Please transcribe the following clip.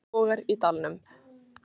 Enn logar í dalnum.